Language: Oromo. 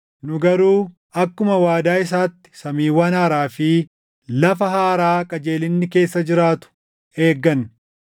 Nu garuu akkuma waadaa isaatti samiiwwan haaraa fi lafa haaraa qajeelinni keessa jiraatu eegganna.